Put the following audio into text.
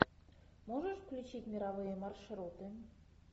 можешь включить мировые маршруты